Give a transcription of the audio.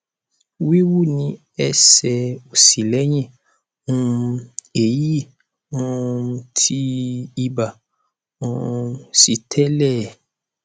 wíwú ní ẹsẹ òsì lẹyìn um èyí um tí ibà um sì tẹlé e